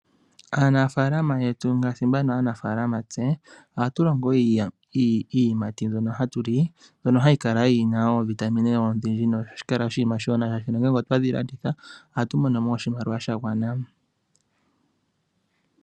Aanafalama yetu ngaashi mbano aanafalama tse, ohatu longo iiyimati mbyono hatu li. Mbyono hayi kala yi na oovitamine odhindji nohashi kala oshinima oshiwanawa, shaashi ngele otwedhi landitha ohatu mono mo oshimaliwa sha gwana.